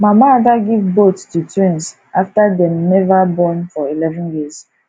mama ada give both to twins after dey never born for eleven years